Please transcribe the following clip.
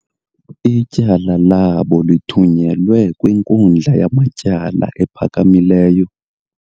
Ityala labo lithunyelwe kwinkundla yamatyala ephakamileyo.